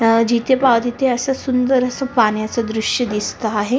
अ जिथे पहाव तिथे अस सुंदर अस पाण्याच दृश्य दिसत आहे.